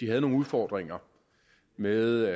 havde nogle udfordringer med